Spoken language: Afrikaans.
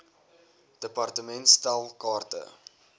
department stel kaarte